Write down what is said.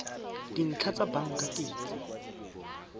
dintlha tsa banka ke tse